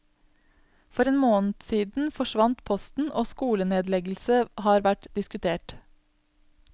For en måned siden forsvant posten, og skolenedleggelse har vært diskutert.